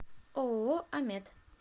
ооо амет